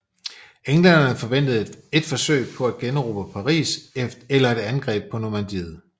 Englænderne forventede et forsøg på at generobre Paris eller et angreb på Normandiet